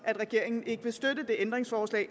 at regeringen ikke vil støtte det ændringsforslag